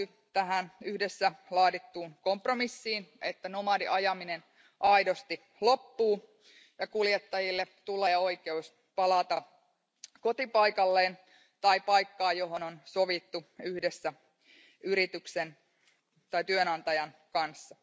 Tähän yhdessä laadittuun kompromissiin sisältyy, että nomadiajaminen aidosti loppuu ja kuljettajille tulee oikeus palata kotipaikalleen tai paikkaan, josta on sovittu yhdessä yrityksen tai työnantajan kanssa.